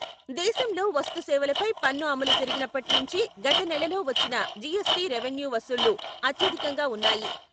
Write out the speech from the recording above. దేశంలో వస్తు సేవలపై పన్ను అమలు జరిగినప్పటి నుంచి గత నెలలో వచ్చిన జీఎస్టీ రెవెన్యూ వసూళ్లు అత్యధికంగా ఉన్నాయి.